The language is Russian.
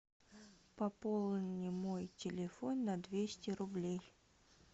пополни мой телефон на двести рублей